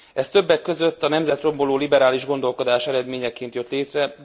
Ez többek között a nemzetromboló liberális gondolkodás eredményeként jött létre.